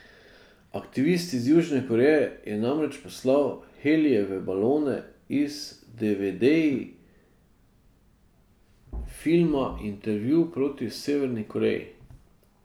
Aktivist iz Južne Koreje je namreč poslal helijeve balone z devedeji filma Intervju proti Severni Koreji.